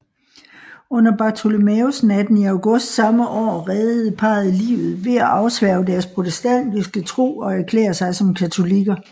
Under Bartholomæusnatten i august samme år reddede parret livet ved at afsværge deres protestantiske tro og erklære sig som katolikker